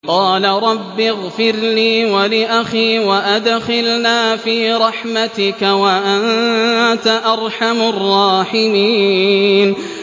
قَالَ رَبِّ اغْفِرْ لِي وَلِأَخِي وَأَدْخِلْنَا فِي رَحْمَتِكَ ۖ وَأَنتَ أَرْحَمُ الرَّاحِمِينَ